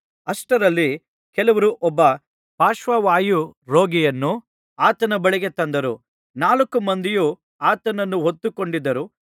ಅಷ್ಟರಲ್ಲಿ ಕೆಲವರು ಒಬ್ಬ ಪಾರ್ಶ್ವವಾಯು ರೋಗಿಯನ್ನು ಆತನ ಬಳಿಗೆ ತಂದರು ನಾಲ್ಕು ಮಂದಿಯು ಆತನನ್ನು ಹೊತ್ತುಕೊಂಡಿದರು